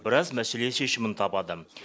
біраз мәселе шешімін табады